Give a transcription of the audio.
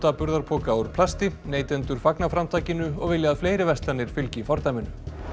burðarpoka úr plasti neytendur fagna framtakinu og vilja að fleiri verslanir fylgi fordæminu